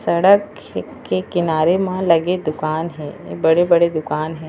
सड़क हे के किनारे म लगे दुकान हे बड़े-बड़े दुकान हे।